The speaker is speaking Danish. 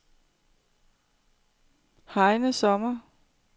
Heine Sommer